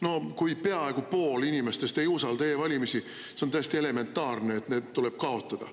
No kui peaaegu pool inimestest ei usalda e-valimisi, siis on täiesti elementaarne, et need tuleb kaotada.